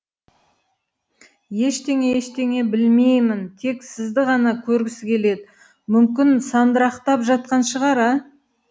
ештеңе ештеңе білмеймін тек сізді ғана көргісі келеді мүмкін сандырақтап жатқан шығар а